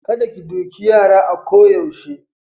Kada ki doki yara a ko yaushe.